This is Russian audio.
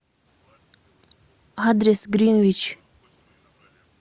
адрес гринвич